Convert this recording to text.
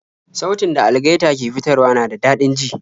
Sautin da algaita ke fitarwa na da dadin ji